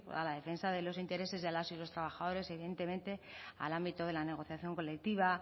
a la defensa de los intereses de las y los trabajadores evidentemente al ámbito de la negociación colectiva